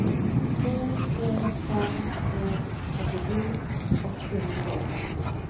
to tre fem en trettito åtte hundre og femti